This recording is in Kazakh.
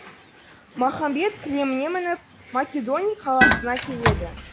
махамбет кілеміне мініп македони қаласына келеді